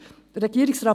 Regierungsrat